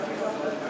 Ağa, burda.